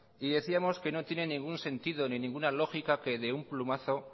y decíamos que no tiene ningún sentido ni ninguna lógica que de un plumazo